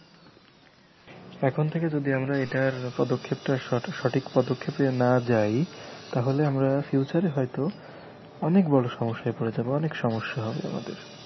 এখন থেকে যদি আমরা এটার পদক্ষেপটা সটা~সঠিক পদক্ষেপে না যাই তাহলে আমরা future এ হয়তো অনেক বড় সমস্যায় পড়ে যাবো অনেক সমস্যা হবে আমাদের।